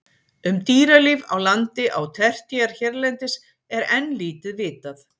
Um dýralíf á landi á tertíer hérlendis er enn lítið vitað.